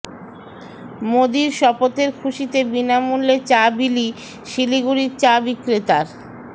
মোদির শপথের খুশিতে বিনামূল্যে চা বিলি শিলিগুড়ির চা বিক্রেতার